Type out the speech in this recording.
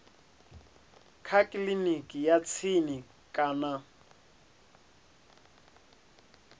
kha kiliniki ya tsini kana